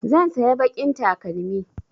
Zan saya baƙin takalmi